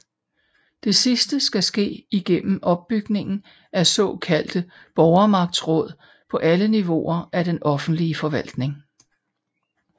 Det sidste skal ske igennem opbygningen af såkaldte Borgermagtsråd på alle niveauer af den offentlige forvaltning